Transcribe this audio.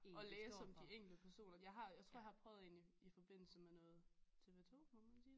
Og læse om de enkelte personer jeg har jeg tror jeg har prøvet en i i forbindelse med noget TV2 må man sige det?